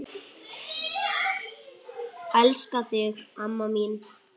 En ekki kom til átaka.